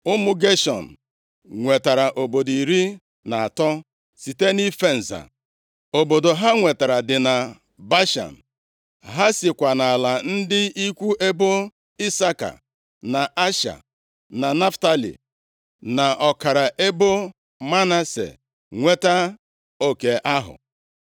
Ụmụ Geshọn nwetara obodo iri na atọ site nʼife nza. Obodo ha nwetara dị na Bashan. Ha sikwa nʼala ndị ikwu ebo Isaka na Asha, na Naftalị, na ọkara ebo Manase nweta oke ahụ.